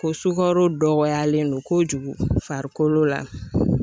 Ko sukaro dɔgɔyalen don kojugu farikolo la